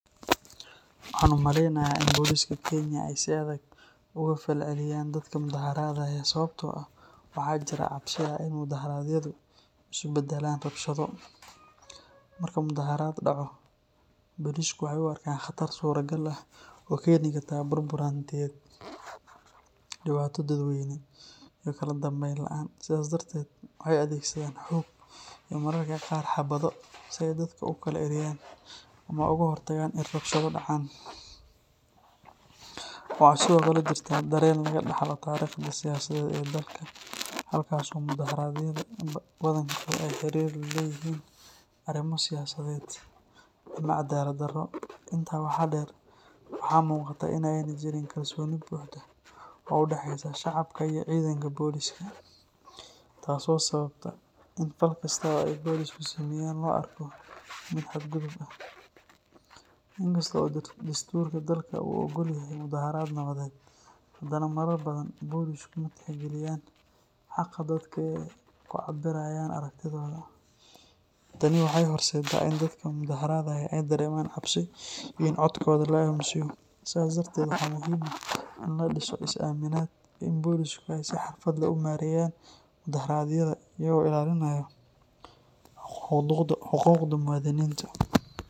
Waxaan u maleynayaa in boliska Kenya ay si adag uga falceliyaan dadka mudaharaadayaa sababtoo ah waxaa jira cabsi ah in mudaharaadyadu isu beddelaan rabshado. Marka mudaharaad dhaco, bolisku waxay u arkaan khatar suurtagal ah oo keeni karta burbur hantiyeed, dhibaato dadweyne, iyo kala dambeyn la’aan. Sidaas darteed, waxay adeegsadaan xoog iyo mararka qaar xabado si ay dadka ugu kala eryaan ama uga hortagaan in rabshado dhacaan. Waxaa sidoo kale jirta dareen laga dhaxlo taariikhda siyaasadeed ee dalka, halkaas oo mudaharaadyada badankood ay xiriir la leeyihiin arrimo siyaasadeed ama cadaalad darro. Intaa waxaa dheer, waxaa muuqata in aanay jirin kalsooni buuxda oo u dhaxeysa shacabka iyo ciidanka booliska taasoo sababta in fal kasta oo ay boolisku sameeyaan loo arko mid xadgudub ah. Inkasta oo dastuurka dalka uu oggol yahay mudaharaad nabadeed, haddana marar badan bolisku ma tixgeliyaan xaqa dadka ee ay ku cabbirayaan aragtidooda. Tani waxay horseeddaa in dadka mudaharaadaya ay dareemaan cabsi iyo in codkooda la aamusiyo. Sidaas darteed, waxaa muhiim ah in la dhiso is aaminaad iyo in boolisku ay si xirfad leh u maareeyaan mudaharaadyada iyadoo la ilaalinayo xuquuqda muwaadiniinta